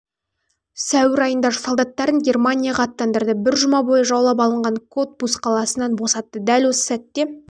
сәуір айында солдаттарын германияға аттандырды бір жұма бойы жаулап алынған котбус қаласын босатты дәл осы